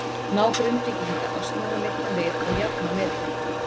Ná Grindvíkingar að snúa leiknum við og jafna metin?